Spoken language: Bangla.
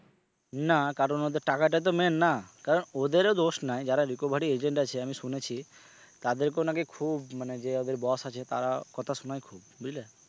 না কারণ ওদের টাকাটা তো main না কারণ ওদেরও দোষ নায় যারা recovery agent আছে আমি শুনেছি তাদেরকেও নাকি খুব মানে যে ওদের boss আছে তারা কথা শোনায় খুব বুঝলে?